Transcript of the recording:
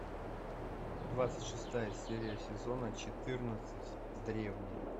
двадцать шестая серия сезона четырнадцать древние